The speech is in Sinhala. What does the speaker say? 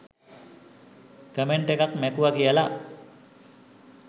කමෙන්ට් එකක් මැකුව කියල